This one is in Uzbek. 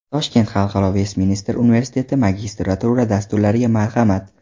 Toshkent Xalqaro Vestminster universiteti Magistratura dasturlariga marhamat!.